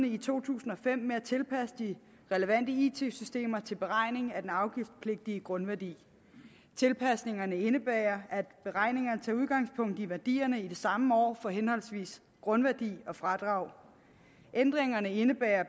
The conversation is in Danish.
i to tusind og fem kommunerne med at tilpasse de relevante it systemer til beregning af den afgiftspligtige grundværdi tilpasningerne indebærer at beregningerne tager udgangspunkt i værdierne i det samme år for henholdsvis grundværdi og fradrag ændringerne indebærer